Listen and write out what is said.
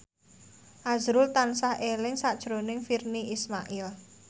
azrul tansah eling sakjroning Virnie Ismail